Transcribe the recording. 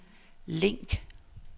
link